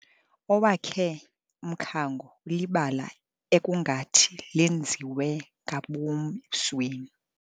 Owakhe umkhango ulibala ekungathi lenziwe ngabom ebusweni.